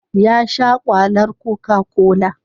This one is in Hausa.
Ya sha kwalar cocacola.